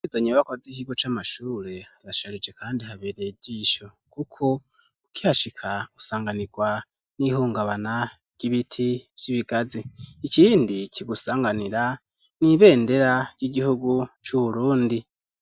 Izo nyubakwa z'ikigo c'amashure harasharije kandi habereye ijishi kuko ukihashika usanganirwa n'ihungabana ry'ibiti vy'ibigazi ikindi kigusanganira n'ibendera ry'igihugu cu Burundi.